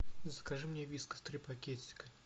закажи мне вискас три пакетика